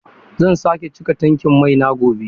Zan sake cika tankin mai na gobe.